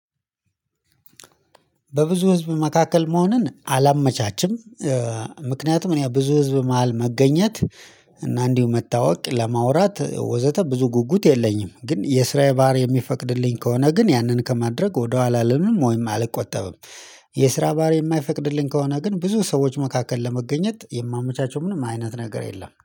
በብዙ ህዝብ መካከል መሆንን አላመቻችም። ምክንያቱም እኔ ብዙ ህዝብ መሃል መገኘት እና እንዲሁ መታወቅ ለማውራት ወዘተ ብዙ ጉጉት የለኝም። ግን የስራዬ ባህሪዬ የሚፈቅድልኝ ከሆነ ግን ያንን ከማድረግ ወደኋላ አልልም ወይም አልቆጠብም። የስራ ባሀሪ የማይፈቅድልኝ ከሆነ ግን ብዙ ሰዎች መካከል ለመገኘት የማመቻቸው ምንም አይነት ነገር የለም